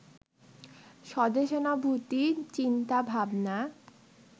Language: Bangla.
স্বদেশানুভূতি, চিন্তা, ভাবনা